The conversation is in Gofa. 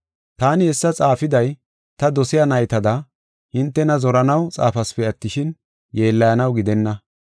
Taani hessa xaafiday, ta dosiya naytada, hintena zoranaw xaafasipe attishin, yeellayanaw gidenna.